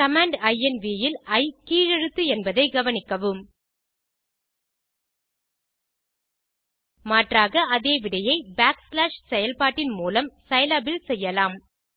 command inv இல் இ கீழ் எழுத்து என்பதை கவனிக்கவும் மாற்றாக அதே விடையை பேக்ஸ்லாஷ் செயல்பாட்டின் மூலம் சிலாப் இல் செய்யலாம்